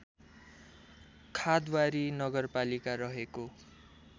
खादवारी नगरपालिका रहेको